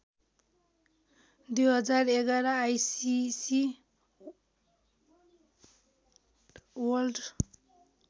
२०११ ICC world